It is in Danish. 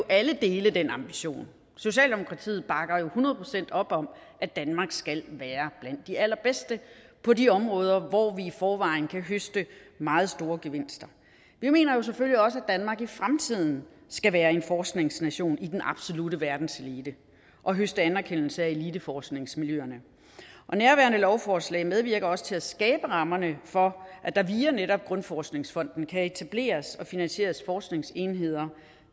alle kan dele den ambition socialdemokratiet bakker hundrede procent op om at danmark skal være blandt de allerbedste på de områder hvor vi i forvejen kan høste meget store gevinster vi mener jo selvfølgelig også at danmark i fremtiden skal være en forskningsnation i den absolutte verdenselite og høste anerkendelse af eliteforskningsmiljøerne nærværende lovforslag medvirker også til at skabe rammerne for at der via netop danmarks grundforskningsfond kan etableres og finansieres forskningsenheder